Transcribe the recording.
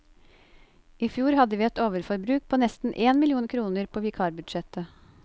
I fjor hadde vi et overforbruk på nesten én million kroner på vikarbudsjettet.